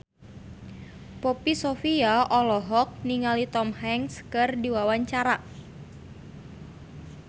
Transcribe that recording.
Poppy Sovia olohok ningali Tom Hanks keur diwawancara